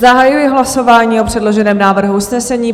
Zahajuji hlasování o předloženém návrhu usnesení.